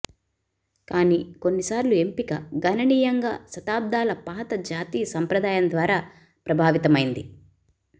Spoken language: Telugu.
కానీ కొన్నిసార్లు ఎంపిక గణనీయంగా శతాబ్దాల పాత జాతీయ సంప్రదాయం ద్వారా ప్రభావితమైంది